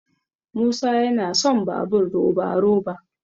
musa yana son babur roba- roba